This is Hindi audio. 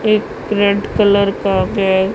एक रेड कलर का बैग --